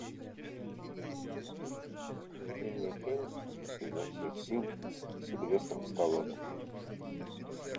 найди мне фильм изо всех сил с сильвестром сталлоне